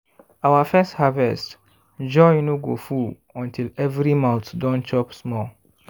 our first harvest joy no go full until every mouth don chop small.